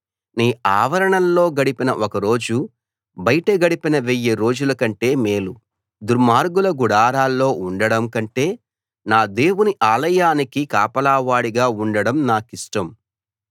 నీ ఆవరణాల్లో గడిపిన ఒక రోజు బయట గడిపిన వెయ్యి రోజుల కంటే మేలు దుర్మార్గుల గుడారాల్లో ఉండడం కంటె నా దేవుని ఆలయానికి కాపలావాడిగా ఉండడం నాకిష్టం